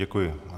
Děkuji.